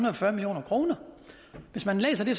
og fyrre million kroner hvis man læser det